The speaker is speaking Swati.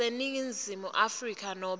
yaseningizimu afrika nobe